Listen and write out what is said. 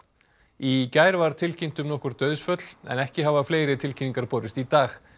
í gær var tilkynnt um nokkur dauðsföll en ekki hafa fleiri tilkynningar borist í dag